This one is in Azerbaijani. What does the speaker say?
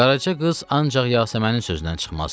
Qaraca qız ancaq Yasəmənin sözündən çıxmazdı.